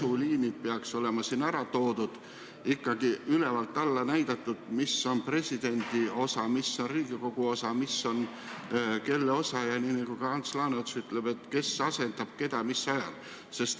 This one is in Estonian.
Ikkagi peaks olema ülevalt alla näidatud, mis on presidendi osa, mis on Riigikogu osa, mis on kellegi teise osa ja nagu ka Ants Laaneots ütleb, kes asendab keda mis ajal.